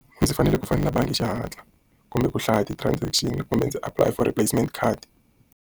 Ndzi fanele ku fonela bangi hi xihatla, kumbe ku hlaya ti-transaction kumbe ndzi apulaya for replacement card.